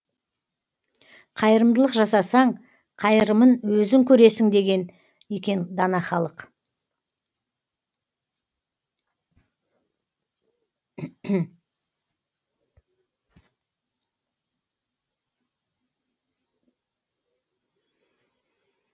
қайырымдылық жасасаң қайырымын өзің көресің деген екен дана халық